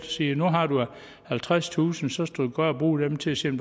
siger nu har du halvtredstusind så skal du bare bruge dem til at se